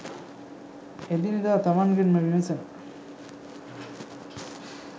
එදිනෙදා තමන්ගෙන්ම විමසන